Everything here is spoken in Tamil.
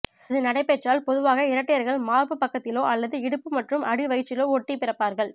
இது நடைபெற்றால் பொதுவாக இரட்டையர்கள் மார்புப் பக்கத்திலோ அல்லது இடுப்பு மற்றும் அடி வயிற்றிலோ ஒட்டி பிறப்பார்கள்